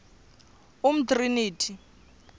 umtriniti